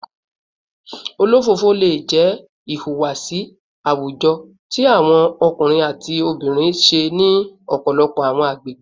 Olofofo le jẹ ihuwasi awujọ ti awọn ọkunrin ati obinrin ṣe ni ọpọlọpọ awọn agbegbe